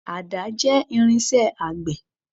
Àdá jẹ́ irinṣẹ́ àgbẹ̀.